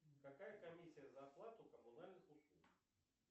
какая комиссия за оплату коммунальных услуг